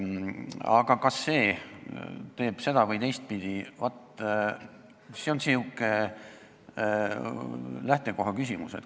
Aga kas see on seda- või teistpidi, vaat, see on sihuke lähtekoha küsimus.